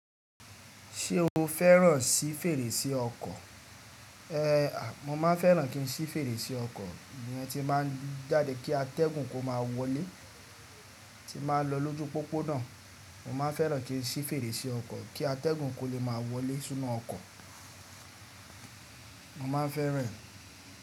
Ṣé o fẹ́ràn sí fèrèsé ọkọ̀? Mo máa ń fẹ́ràn kí n sí fèrèsé ọkọ̀, ìyẹn ti n ba ń jáde kí atẹ́gùn kó má wọlé, tí'm ba ń lọ lójú pópónà, mo máa ń fẹ́ràn kí n sí fèrèsé ọkọ̀ kí atẹ́gùn kó lè máa wọlé sínú ọkọ̀. Mo máa ń fẹ́ràn rẹ̀